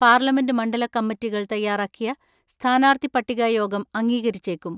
Parliament മണ്ഡലകമ്മറ്റികൾ തയ്യാറാക്കിയ സ്ഥാനാർത്ഥി പട്ടിക യോഗം അംഗീകരിച്ചേക്കും.